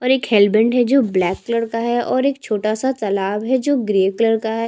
और रक हैयरबैंड है जो ब्लैक कलर का है और एक छोटा सा तालाब है जो ग्रे कलर का है।